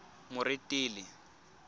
moretele